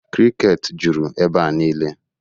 Krịket juru ebea nile